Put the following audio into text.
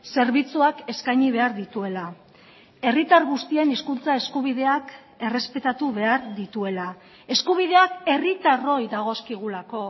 zerbitzuak eskaini behar dituela herritar guztien hizkuntza eskubideak errespetatu behar dituela eskubideak herritarroi dagozkigulako